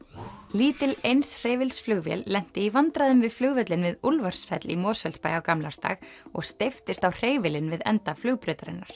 lítil eins hreyfils flugvél lenti í vandræðum við flugvöllinn við Úlfarsfell í Mosfellsbæ á gamlársdag og steyptist á hreyfilinn við enda flugbrautarinnar